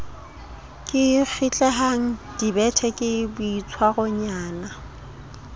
ke kgitlehang dibete ke boitshwaronyana